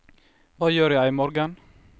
hva gjør jeg imorgen